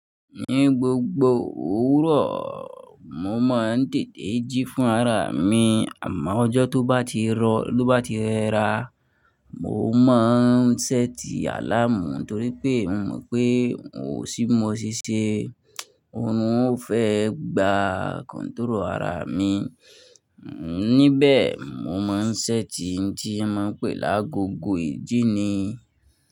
Ní gbogbo òwúrọ̀, mo máa ń dèdé jí fún ara mi. Àmọ́ ọjọ́ tó bá ti rọ̀, tó bá ti rẹra, mo máa ń ṣẹ́ti àláàmù torí pé mò mọ̀ pé n ò sí mọ ṣíṣe, òrun ó fẹ́ gba kọ́ntúró ara mi. Ní bẹ̀ mo máa ń ṣẹ́ti tí a máa ń pè lágo go ìjíni.